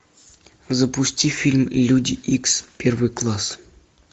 запусти фильм люди икс первый класс